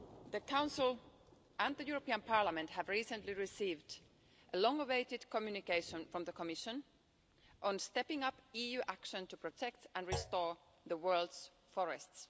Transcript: The Council and Parliament have recently received a long-awaited communication from the Commission on stepping up EU action to protect and restore the world's forests.